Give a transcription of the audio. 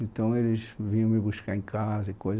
Então eles vinham me buscar em casa e coisa